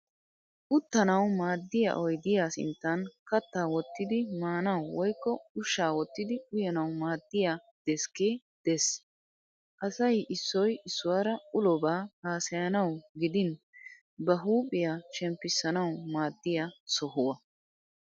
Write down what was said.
Uttanawu maaddiya oyidiya sinttan kattaa wottidi aanawu woyikko ushshaa wottidi uyanawu maaddiya deskkee des. Asay issoy issuwara ulobaa hassayanawu gidin ba huuphiya shemppisanawu maaddiya sohuwa.